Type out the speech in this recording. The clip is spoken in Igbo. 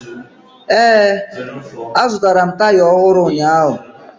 Ee, azụtara m taya ọhụrụ ụnyaahụ